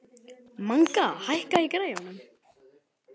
Manga, hækkaðu í græjunum.